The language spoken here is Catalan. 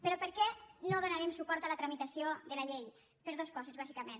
però per què no donarem suport a la tramitació de la llei per dos coses bàsicament